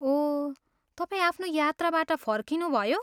ओह, तपाईँ आफ्नो यात्राबाट फर्किनुभयो?